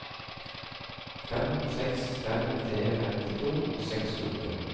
fem seks fem tre femtito seks hundre